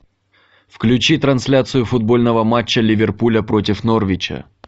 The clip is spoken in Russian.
включи трансляцию футбольного матча ливерпуля против норвича